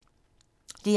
DR1